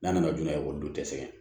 N'a nana joona ekɔliden tɛ sɛgɛn